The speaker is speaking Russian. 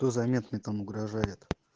то заметный там угрожает